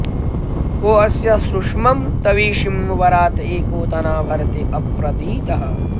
को अस्य शुष्मं तविषीं वरात एको धना भरते अप्रतीतः